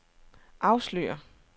afslører